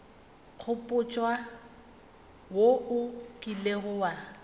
nkgopotša wo o kilego wa